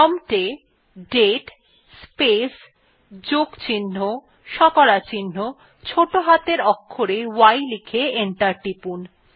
prompt এ দাতে space যোগ চিহ্ন শতকরা চিহ্ন ছোটো হাতের অক্ষরে y লিখে এন্টার টিপুন